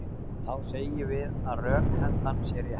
Þá segjum við að rökhendan sé rétt.